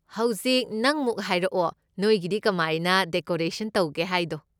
ꯍꯧꯖꯤꯛ, ꯅꯪꯃꯨꯛ ꯍꯥꯏꯔꯛꯑꯣ ꯅꯣꯏꯒꯤꯗꯤ ꯀꯃꯥꯏꯅ ꯗꯦꯀꯣꯔꯐꯦꯁꯟ ꯇꯧꯒꯦ ꯍꯥꯏꯗꯣ꯫